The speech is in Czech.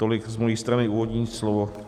Tolik z mé strany úvodní slovo.